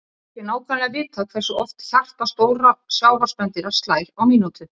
Ekki er nákvæmlega vitað hversu oft hjarta stórra sjávarspendýra slær á mínútu.